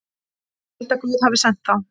Held að Guð hafi sent þá.